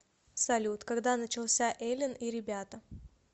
салют когда начался элен и ребята